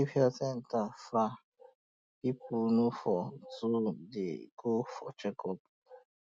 if health centre far people no go too dey go for checkup